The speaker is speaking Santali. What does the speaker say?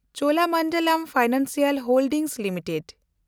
Cholamandalam financial holdings limited